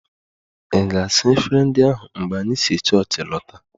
Ị ga-saa efere ndi ahu mgbe anyị si chọọchị lọta!